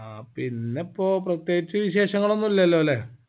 ആ പിന്നെപ്പോ പ്രേത്യേകിച്ച് വിശേഷങ്ങളൊന്നുഇല്ലോല്ലേ